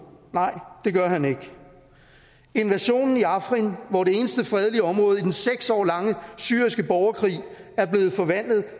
nej det gør han ikke invasionen i afrin hvor det eneste fredelige område i den seks år lange syriske borgerkrig er blevet forvandlet